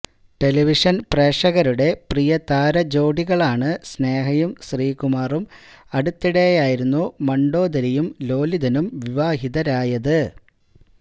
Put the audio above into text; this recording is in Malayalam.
ടെലിവിഷന് പ്രേക്ഷകരുടെ പ്രിയതാരജോടികളാണ് സ്നേഹയും ശ്രീകുമാറും അടുത്തിടെയായിരുന്നു മണ്ഡോദരിയും ലോലിതനും വിവാഹിതരായത്